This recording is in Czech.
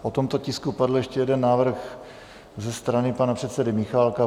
O tomto tisku padl ještě jeden návrh ze strany pana předsedy Michálka.